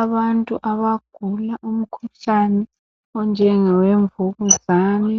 Abantu abagula umkhuhlane onjengowemvukuzane